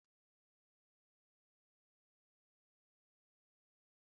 Ana eji áyiya esi nri na Naịjirịa